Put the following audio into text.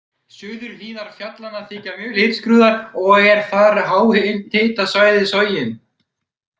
Suðurhlíðar fjallanna þykja mjög litskrúðugar og er þar háhitasvæði, Sogin.